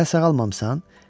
Hələ sağalmamısan?